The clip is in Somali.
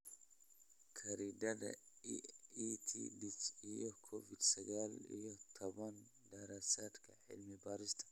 Khariidadda EdTech iyo Covid sagaal iyo tobbaan daraasaadka cilmi-baarista.